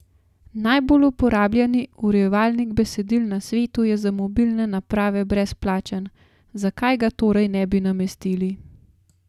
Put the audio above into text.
Najbolj uporabljani urejevalnik besedil na svetu je za mobilne naprave brezplačen, zakaj ga torej ne bi namestili?